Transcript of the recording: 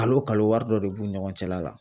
Kalo kalo wari dɔ de b'u ni ɲɔgɔn cɛla la